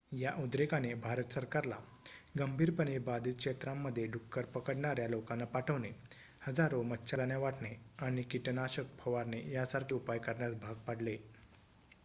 या उद्रेकाने भारत सरकारला गंभीरपणे बाधित क्षेत्रांमध्ये डुक्कर पकडणाऱ्या लोकांना पाठवणे हजारो मच्छरदाण्या वाटणे आणि कीटनाशक फवारणे यांसारखे उपाय करण्यास भाग पाडले